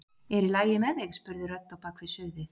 Er í lagi með þig? spurði rödd á bak við suðið.